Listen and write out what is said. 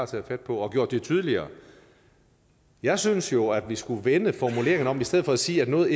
taget fat på og gjort det tydeligere jeg synes jo at vi skulle vende formuleringerne om i stedet for at sige at noget